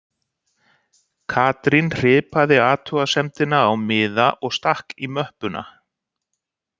Katrín hripaði athugasemdina á miða og stakk í möppuna